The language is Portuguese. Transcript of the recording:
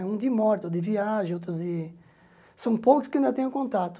Um de morte, outro de viagem, outros de... São poucos que ainda tenho contato.